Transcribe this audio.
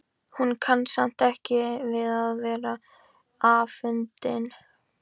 Hún kann samt ekki við að vera afundin.